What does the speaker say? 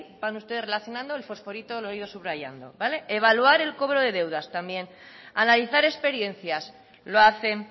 van ustedes relacionando el fosforito lo he ido subrayando vale evaluar el cobro de deudas también analizar experiencias lo hacen